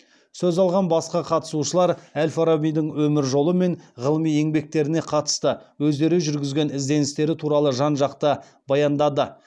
сөз алған басқа қатысушылар әл фарабидің өмір жолы мен ғылыми еңбектеріне қатысты өздері жүргізген ізденістері туралы жан жақты баяндады